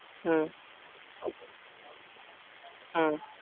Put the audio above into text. ਹਮ ਹਮ